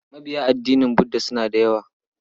Mabiya addinin Budda suna da yawa.